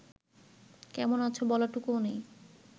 কেমন আছ বলাটুকুও নেই